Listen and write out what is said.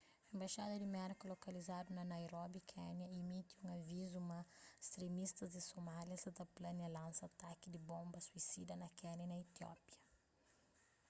enbaxada di merka lokalizadu na nairobi kénia imiti un avizu ma stremistas di somália sa ta plania lansa ataki di bonba suisida na kénia y na etiópia